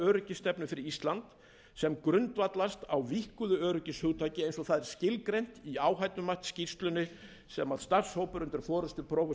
öryggisstefnu fyrir ísland sem grundvallast á víkkuðu öryggishugtaki eins og það er skilgreint í áhættumatsskýrslunni sem starfshópur undir forustu